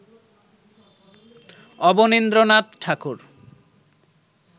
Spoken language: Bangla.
অবনীন্দ্রনাথ ঠাকুর